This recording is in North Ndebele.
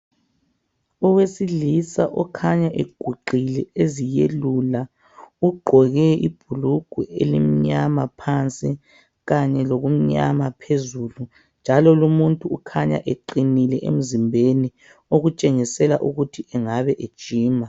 Owesilisa okhanya eguqile eziyelula ugqoke ibhulugwe elimnyama phansi kanye lokumnyama phezulu, njalo lumuntu ukhanya eqinile emzimbeni okutshengisela ukuthi engabe ejima